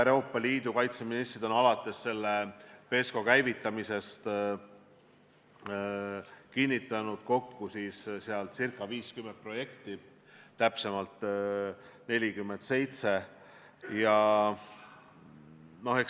Euroopa Liidu kaitseministrid on alates PESCO käivitamisest kinnitanud kokku ca 50 projekti, täpsemalt 47.